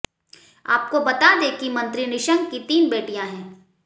आपको बता दें कि मंत्री निशंक की तीन बेटियां हैं